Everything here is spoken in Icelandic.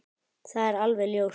Það er alveg ljóst!